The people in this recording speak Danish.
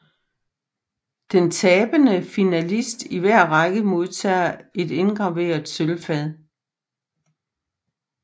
Den tabende finalist i hver række modtager et indgraveret sølvfad